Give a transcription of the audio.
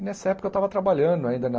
E nessa época eu estava trabalhando ainda na...